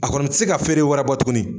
A kɔni ti se ka feere wɛrɛ bɔ tuguni.